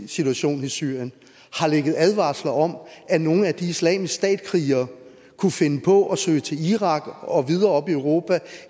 situation i syrien har ligget advarsler om at nogle af de islamisk stat krigere kunne finde på at søge til irak og videre op i europa